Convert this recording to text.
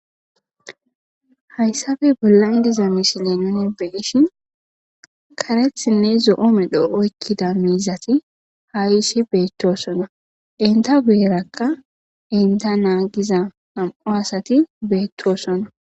hayssafe bollayn diza mishile nuni beishin karethinne zo7oome dho7oykkida miizati haayisi beettosona inta beerakka inta naa giza am7o asati beettosona